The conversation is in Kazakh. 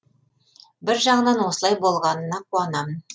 бір жағынан осылай болғанына қуанамын